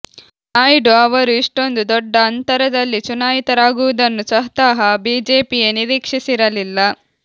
ನಾಯ್ಡು ಅವರು ಇಷ್ಟೊಂದು ದೊಡ್ಡ ಅಂತರದಲ್ಲಿ ಚುನಾಯಿತರಾಗುವುದನ್ನು ಸ್ವತಃ ಬಿಜೆಪಿಯೇ ನಿರೀಕ್ಷಿಸಿರಲಿಲ್ಲ